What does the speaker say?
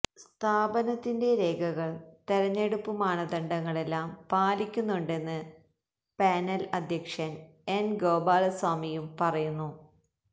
സ്ഥാപനത്തിന്റെ രേഖകൾ തെരഞ്ഞെടുപ്പു മാനദണ്ഡങ്ങളെല്ലാം പാലിക്കുന്നുണ്ടെന്ന് പാനൽ അധ്യക്ഷൻ എൻ ഗോപാലസ്വാമിയും പറയുന്നു